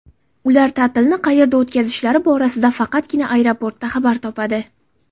Ular ta’tilni qayerda o‘tkazishlari borasida faqatgina aeroportda xabar topadi.